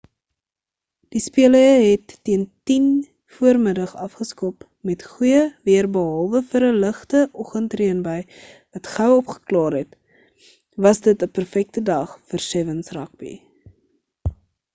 die spele het teen 10:00vm afgeskop met goeie weer behalwe vir 'n ligte oggend reënbui wat gou opgeklaar het was dit 'n perfekte dag vir 7's rugby